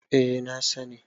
eh na sani